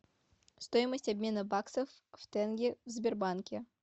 стоимость обмена баксов в тенге в сбербанке